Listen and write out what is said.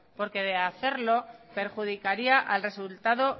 porque de hacerlo perjudicaría al resultado